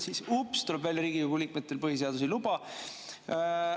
Siis, ups, tuleb välja, et Riigikogu liikmetel põhiseadus ei luba.